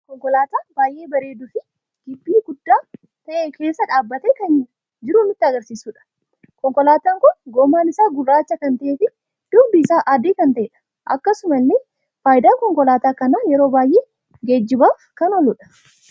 Konkoolaata baay'ee bareedu fi Gibbii guddaa ta'ee keessa dhaabbate kan jiru kan nutti agarsiisuudha. Konkoolaatan kun Gommaan isaa Gurraacha kan ta'ee fi dugdi isaa adii kan ta'edha. Akkasumallee faayidan konkoolaata kana yeroo baay'ee Geejjibaaf kan ooludha.